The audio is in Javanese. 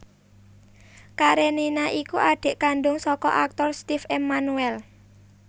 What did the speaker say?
Karenina iku adhik kandhung saka aktor Steve Emmanuel